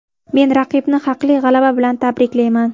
Men raqibni haqli g‘alaba bilan tabriklayman.